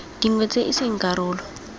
dingwe tse e seng karolo